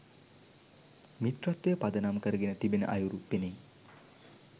මිත්‍රත්වය පදනම් කරගෙන තිබෙන අයුරු පෙනේ.